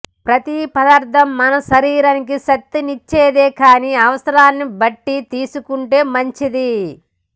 ప్రతి పదార్థం మన శరీరానికి శక్తినిచ్చేదే కాని అవసరాన్ని బట్టి తీసుకుంటే మంచిది